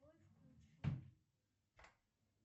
джой включи